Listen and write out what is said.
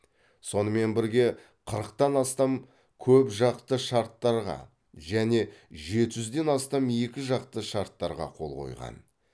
сонымен бірге қырықтан астам көпжақты шарттарға және жеті жүзден астам екі жақты шарттарға қол қойған